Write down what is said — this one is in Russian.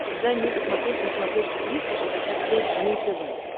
дай мне посмотреть на смотрешке триста шестьдесят пять дней тв